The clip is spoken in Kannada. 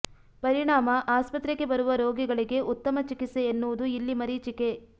ಪರಿಣಾಮ ಆಸ್ಪತ್ರೆಗೆ ಬರುವ ರೋಗಿಗಳಿಗೆ ಉತ್ತಮ ಚಿಕಿತ್ಸೆ ಎನ್ನುವುದು ಇಲ್ಲಿ ಮರೀಚಿಕೆ